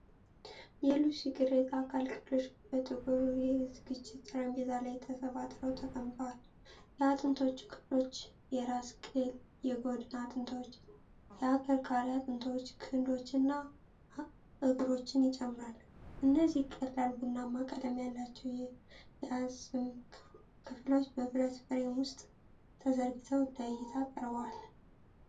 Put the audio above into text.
የሉሲ ቅሪተ አካል ክፍሎች በጥቁር የዝግጅት ጠረጴዛ ላይ ተሰባጥረው ተቀምጠዋል። የአጥንቶቹ ክፍሎች የራስ ቅል፣ የጎድን አጥንቶች፣ የአከርካሪ አጥንቶች፣ ክንዶች እና እግሮችን ይጨምራሉ። እነዚህ ቀላል ቡናማ ቀለም ያላቸው የአጽም ክፍሎች በብረት ፍሬም ውስጥ ተዘርግተው ለዕይታ ቀርበዋል።